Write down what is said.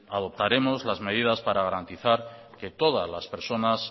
adoptaremos las medidas para garantizar que todas las personas